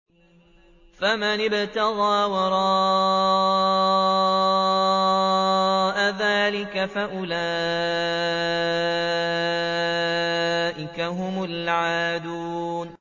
فَمَنِ ابْتَغَىٰ وَرَاءَ ذَٰلِكَ فَأُولَٰئِكَ هُمُ الْعَادُونَ